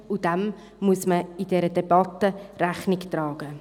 Dem muss man in dieser Debatte Rechnung tragen.